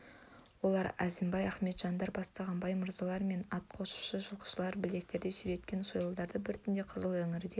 олар әзімбай ақметжандар бастаған бай мырзалар мен атқосшы жылқышылар білектерінде сүйреткен сойылдары бар түнде қызыл іңірде